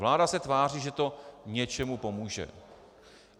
Vláda se tváří, že to něčemu pomůže.